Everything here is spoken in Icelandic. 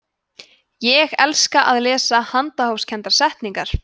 ég elska að lesa handahófskendar settningar